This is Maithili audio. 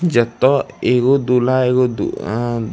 जता एगो दुल्हा एगो दू ए --